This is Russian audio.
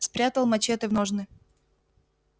спрятал мачете в ножны